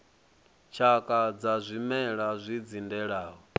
tshakha dza zwimela zwi dzindelaho